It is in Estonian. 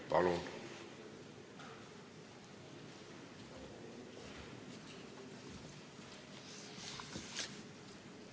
Palun!